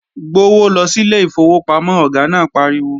Gbówó lọ sílé ìfowópamọ́, Ọ̀gá náà pariwo!